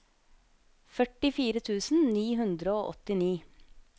førtifire tusen ni hundre og åttini